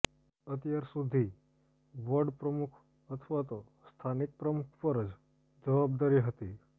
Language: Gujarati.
અત્યાર સુધી વોર્ડ પ્રમુખ અથવા તો સ્થાનિક પ્રમુખ પર જ જવાબદારી હતી